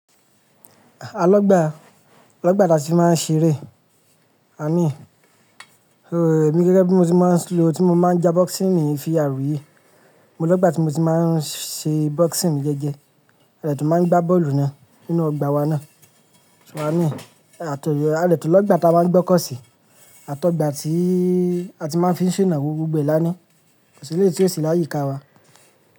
Àlọ́ gbà, àlọ́ gbà làti máa ń ṣeré. I mean, oh èmi gẹ́gẹ́ bí mo ti máa ń lo, tí mo máa ń ja boxing mi fi VR yìí, mo lógbà tí mo ti máa ń ṣe boxing mi jẹ́jẹ́, a dè tún máa ń gbá bọ́ọ̀lù náà nínú ọgbà wa náà. So a ní, àtọ̀, a dè tún lọ́gbà tí a máa ń gbokọ̀ọ́ sí, àtọ̀gbà tíí a ti máa ń fín ṣenawo gbogbo e lá ni. Kò sí eléyi tí ó sì láyí ká wa.